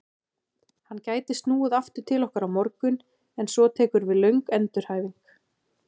Hann gæti snúið aftur til okkar á morgun en svo tekur við löng endurhæfing.